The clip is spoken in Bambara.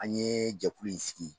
An yee jɛkulu in sigi